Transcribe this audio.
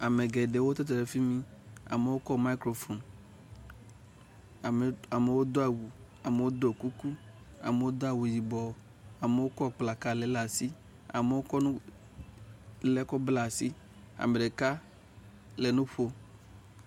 Ame geɖewo tsitre ɖe fi mi. amewo kɔ mikro foni. Ame ɖe amewo do awu, amewo do kuku, amewo do awu yibɔ, amewo kɔ kpla kaɖi le le asi amewo kɔ nu le nu ɖe kɔ bla asi. Ame ɖeka le nu ɔom.